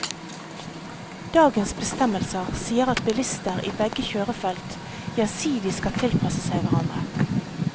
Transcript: Dagens bestemmelser sier at bilister i begge kjørefelt gjensidig skal tilpasse seg hverandre.